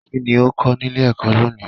Kínní o kọ nílé ẹ̀kọ́ lóòní?